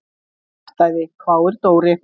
Kjaftæði? hváir Dóri.